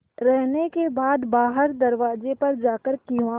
रहने के बाद बाहर दरवाजे पर जाकर किवाड़